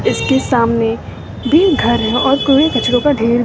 इसके सामने भी घर है और कूड़े कचड़ो का ढेर--